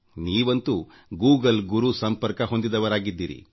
ನೀವಂತೂ ಗೂಗಲ್ ಗುರು ಸಂಪರ್ಕ ಹೊಂದಿದವರಾಗಿದ್ದೀರಿ